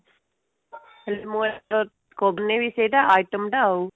ମୁଁ ଏଥର କରି ନେବି ସେଟା item ଟା